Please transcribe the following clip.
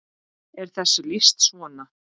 er þessu lýst svona